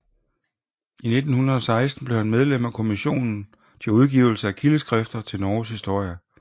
I 1916 blev han medlem af kommissionen til udgivelse af kildeskrifter til Norges historie